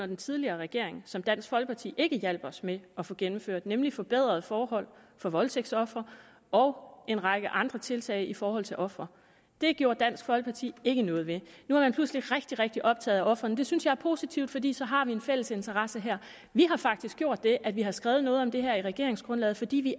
den tidligere regering som dansk folkeparti ikke hjalp os med at få gennemført nemlig forbedrede forhold for voldtægtsofre og en række andre tiltag i forhold til ofre det gjorde dansk folkeparti ikke noget ved nu er man pludselig rigtig rigtig optaget af ofrene det synes jeg er positivt fordi så har vi en fælles interesse her vi har faktisk gjort det at vi har skrevet noget om det her i regeringsgrundlaget fordi vi